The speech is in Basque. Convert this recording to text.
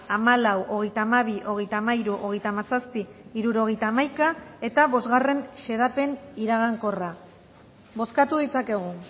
hamalau hogeita hamabi hogeita hamairu hogeita hamazazpi hirurogeita hamaika eta bosgarren xedapen iragankorra bozkatu ditzakegu